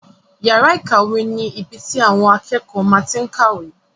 Yàrá ìkàwé ni ibi tí àwọn akẹ́kọ̀ọ́ máa tí n kàwé